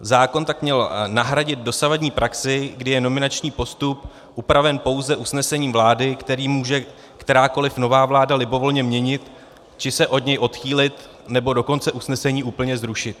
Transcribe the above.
Zákon tak měl nahradit dosavadní praxi, kdy je nominační postup upraven pouze usnesením vlády, které může kterákoli nová vláda libovolně měnit, či se od něj odchýlit, nebo dokonce usnesení úplně zrušit.